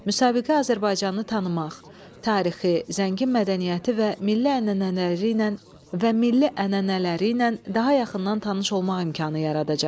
Müsabiqə Azərbaycanı tanımaq, tarixi, zəngin mədəniyyəti və milli ənənələriylə və milli ənənələriylə daha yaxından tanış olmaq imkanı yaradacaqdı.